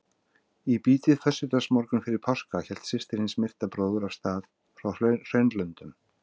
Í bítið föstudagsmorgunn fyrir páska hélt systir hins myrta bróður af stað frá Hraunlöndum.